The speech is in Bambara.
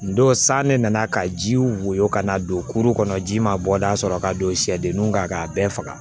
N don san ne nana ka jiw woyo ka na don kuru kɔnɔ ji ma bɔ da sɔrɔ ka don sɛdenninw kan k'a bɛɛ faga